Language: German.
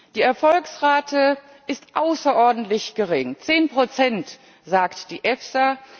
Die Erfolgsrate ist außerordentlich gering zehn Prozent, sagt die EFSA.